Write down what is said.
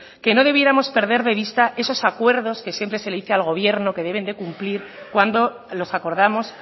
que no debiéramos perder de vista esos acuerdos que siempre se le dice al gobierno que deben de cumplir cuando los acordamos